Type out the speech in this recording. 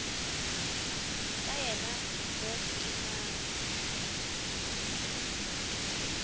ka yena mo ke mang